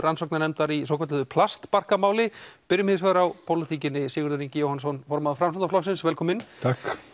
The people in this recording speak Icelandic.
rannsóknarnefndar í svokölluðu plastbarkamáli byrjum hins vegar á pólitíkinni Sigurður Ingi Jóhannsson formaður Framsóknarflokksins velkominn takk